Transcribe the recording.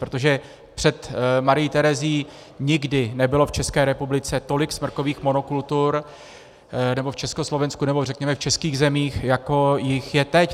Protože před Marií Terezií nikdy nebylo v České republice tolik smrkových monokultur, nebo v Československu, nebo řekněme v českých zemích, jako jich je teď.